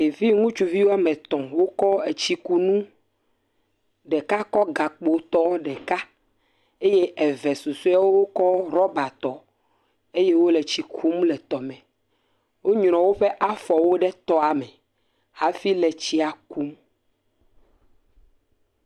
Ɖevi ŋutsuvi wɔ me etɔ wokɔ tsikunu. Ɖeka kɔ gakpo tɔ ɖeka eye eve susɔewo kɔ ɖɔba tɔ eye wole tsi ku mu le etɔa me. Wonyrɔm woƒe afɔwo ɖe tɔa me hafi le tsia kum.